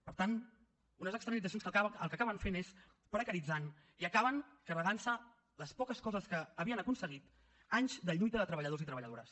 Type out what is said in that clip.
per tant unes externalitzacions que el que acaben fent és precaritzant i acaben carregant se les poques coses que havien aconseguit anys de lluita de treballadors i treballadores